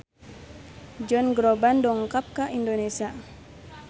Josh Groban dongkap ka Indonesia